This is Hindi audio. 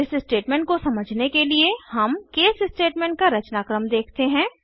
इस स्टेटमेंट को समझने के लिए हम केस स्टेटमेंट का रचनाक्रम देखते हैं